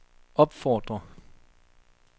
opfordrer